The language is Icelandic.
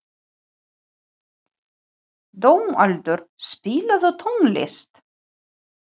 Dómaldur, spilaðu tónlist.